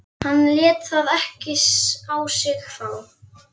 Hann lét það ekki á sig fá.